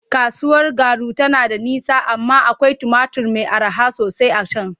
Kasuwar Garu tana da nisa amma akwai tumatur mai araha sosai a can.